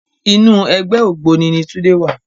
Inú ègbè ôgbóni ni Tunde wá